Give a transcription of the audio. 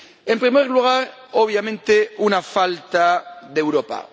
En primer lugar, obviamente, una falta de Europa.